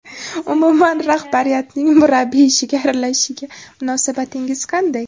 Umuman rahbariyatning murabbiy ishiga aralashishiga munosabatingiz qanday?